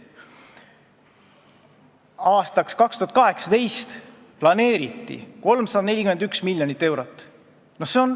Aastaks 2018 planeeriti 341 miljonit eurot.